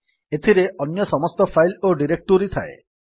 ଏଥିରେ ଅନ୍ୟ ସମସ୍ତ ଫାଇଲ୍ ଓ ଡିରେକ୍ଟୋରୀ ରହିଥାଏ